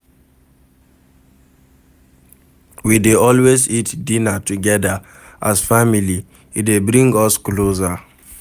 We dey always eat dinner togeda as family, e dey bring us closer